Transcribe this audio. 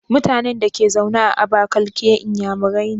MutAnan Dake zaune a abakaliki inyamurai ne?